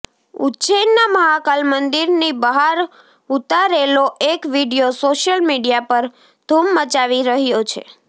ઉજ્જૈનના મહાકાલ મંદિરની બહાર ઉતારેલો એક વીડિયો સોશિયલ મીડિયા પર ધુમ મચાવી રહ્યો છે